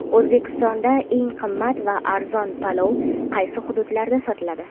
O‘zbekistonda eng qimmat va arzon palov qaysi hududlarda sotiladi?.